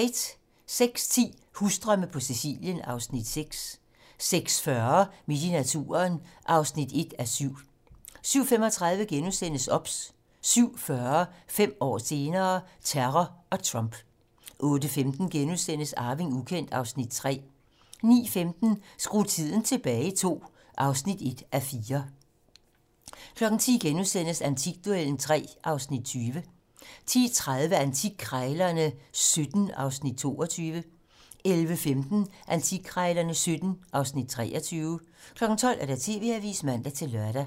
06:10: Husdrømme på Sicilien (Afs. 6) 06:40: Midt i naturen (1:7) 07:35: OBS * 07:40: 5 år senere - Terror og Trump 08:15: Arving ukendt (Afs. 3)* 09:15: Skru tiden tilbage II (1:4) 10:00: Antikduellen (3:20)* 10:30: Antikkrejlerne XVII (Afs. 22) 11:15: Antikkrejlerne XVII (Afs. 23) 12:00: TV-Avisen (man-lør)